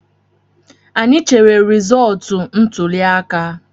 Anyị chere resọọtu ntụliaka